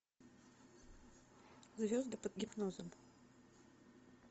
звезды под гипнозом